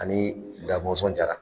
Ani Da Mɔnsɔn Jara.